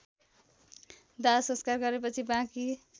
दाहसंस्कार गरेपछि बाँकी